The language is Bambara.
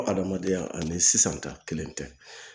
Ko hadamadenya ani sisan ta kelen tɛ